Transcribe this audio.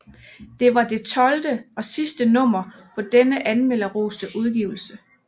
Det var det tolvte og sidste nummer på denne anmelderroste udgivelse